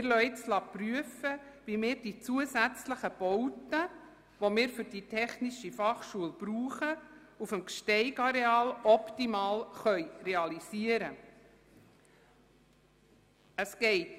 Wir lassen prüfen, wie wir die zusätzlichen für die Technische Fachschule benötigten Bauten auf dem GsteigAreal optimal realisieren können.